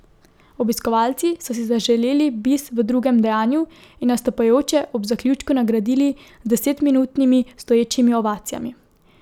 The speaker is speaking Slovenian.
Obiskovalci so si zaželeli bis v drugem dejanju in nastopajoče ob zaključku nagradili z desetminutnimi stoječimi ovacijami.